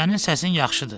Sənin səsin yaxşıdır.